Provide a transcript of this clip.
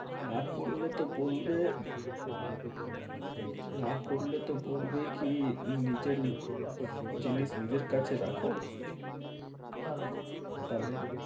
না করলে তো বলবে না করলে তো বলবে কি নিজের জিনিস নিজের কাছে রাখো তাহলে